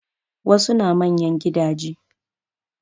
Wasu na manyan gidaje